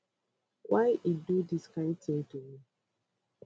why e do dis kain tin to me